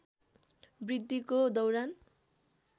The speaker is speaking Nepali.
वृद्धिको दौरान